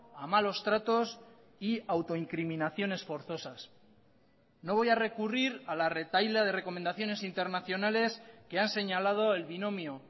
a malos tratos y a autoincriminaciones forzosas no voy a recurrir a la retahíla de recomendaciones internacionales que han señalado el binomio